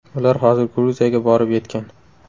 Ular hozir Gruziyaga borib yetgan.